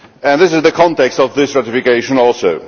This is the context of this ratification also.